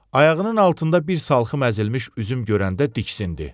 Ayağının altında bir salxım əzilmiş üzüm görəndə diksindi.